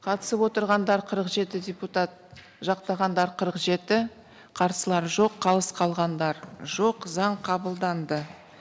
қатысып отырғандар қырық жеті депутат жақтағандар қырық жеті қарсылар жоқ қалыс қалғандар жоқ заң қабылданды